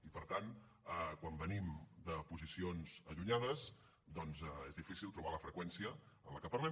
i per tant quan venim de posicions allunyades doncs és difícil trobar la freqüència en la que parlem